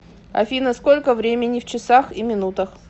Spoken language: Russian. афина сколько времени в часах и минутах